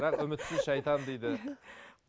бірақ үмітсіз шайтан дейді